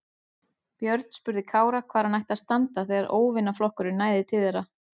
Björn spurði Kára hvar hann ætti að standa þegar óvinaflokkurinn næði til þeirra.